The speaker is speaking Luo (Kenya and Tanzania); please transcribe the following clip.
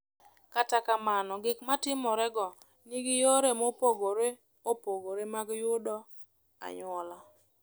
Kata kamano, gik ma timorego nigi yore mopogore opogore mag yudo anyuola.